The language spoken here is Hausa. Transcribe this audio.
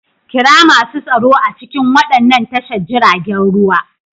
Kira masu tsaro a cikin waɗannan tashar jiragen ruwa.